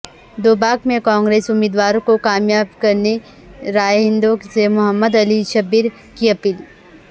دوباک میں کانگریس امیدوار کو کامیاب کرنے رائے دہندوں سے محمد علی شبیر کی اپیل